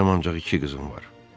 Mənim ancaq iki qızım var.